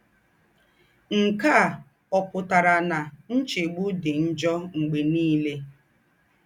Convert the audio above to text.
Ǹke à ọ̀ pụ́tàrà ná ńchègbù dì njọ̀ m̀gbè nìlè?